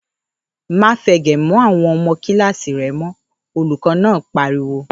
‘Má fe̩gè̩ mó̩ àwo̩n o̩mo̩ kíláàsì re̩ mó̩!’, Olùkó̩ náà pariwo